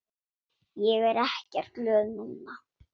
Ég er ekkert glöð núna.